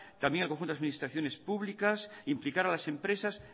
también al conjunto de las administraciones públicas implicar a las empresas